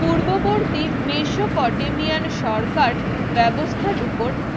পূর্ববর্তী মেশোপটেমিয়ান সরকার ব্যবস্থার উপর